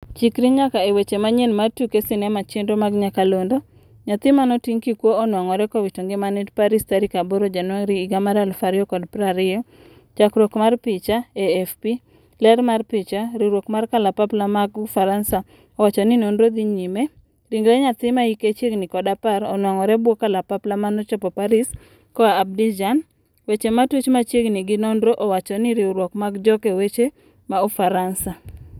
Chikri nyaka e weche manyien mar tuke sinema chenro mag nyakalondo: Nyathi manoting' kikuwo onwang'ore kowito ngimane Paris 8 Januari 2020. Chakruok mar picha, AFP: ler mar picha, Riuwruok mar kalapapla mag ufaransa owachoni nonro dhi nyime. ringre nyathi maike chiegni 10 onwang'ore bwo kalapaplamanochopo Paris koa Abidjan, weche matuch machiegni gi nonro owachone riwruok mar joke weche ma Ufaransa.